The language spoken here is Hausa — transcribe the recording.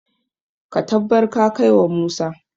ka tabbar ka kai wa Musa!